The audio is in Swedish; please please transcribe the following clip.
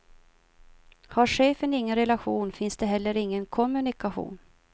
Har chefen ingen relation finns det heller ingen kommunikation.